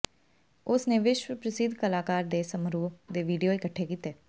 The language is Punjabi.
ਉਸ ਨੇ ਵਿਸ਼ਵ ਪ੍ਰਸਿੱਧ ਕਲਾਕਾਰ ਦੇ ਸਮਾਰੋਹ ਦੇ ਵੀਡੀਓ ਇਕੱਠੇ ਕੀਤੇ